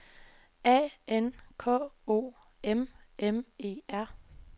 A N K O M M E R